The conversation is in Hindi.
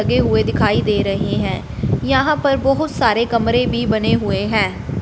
लगे हुए दिखाई दे रहे हैं। यहां पर बहुत सारे कमरे भी बने हुए हैं।